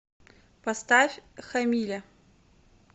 поставь хамиля